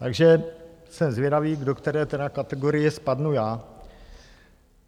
Takže jsem zvědavý, do které tedy kategorie spadnu já.